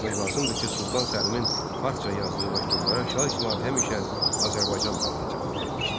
Qeyd etmək lazımdır ki, Sultan Səlimin farsça yazdığı məktublara Şah İsmayıl həmişə Azərbaycan dilində cavab vermişdir.